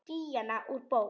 Díana úr bók.